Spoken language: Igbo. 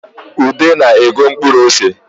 Ude na-ego mkpuru ose